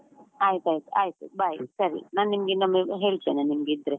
ಆಯ್ತು ಆಯ್ತು ಆಯ್ತು, bye ಸರಿ ನಾನ್ ನಿಮ್ಗೆ ಇನ್ನೊಮ್ಮೆ ಹೇಳ್ತೇನೆ, ನಿಮ್ಗೆ ಇದ್ರೆ.